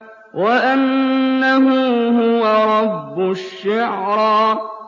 وَأَنَّهُ هُوَ رَبُّ الشِّعْرَىٰ